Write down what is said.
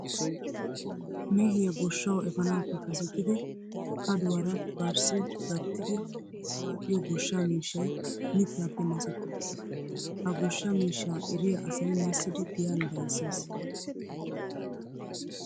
Mehiya goshshawu efaanaappe kasetidi kaduwara barssi gattidi waaxiyo goshshaa miishshay mittaappe masetti uttiis. Ha goshsha miishshaa eriya asay massidi giyan bayzzees.